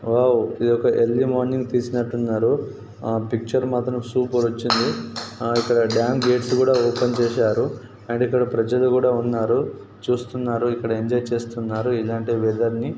Wow ఇది ఒక early morning తీసినట్టున్నారు ఆ పిక్చర్ మాత్రం సూపర్ వచ్చింది ఇక్కడ డ్యామ్ గేట్ లు ఓపెన్ చేసారు అండ్ ఇక్కడ ప్రజలు కూడా ఉన్నారు చూస్తున్నారు ఇక్కడ ఎంజాయ్ చేస్తున్నారు ఇలాంటి వెదర్ ని.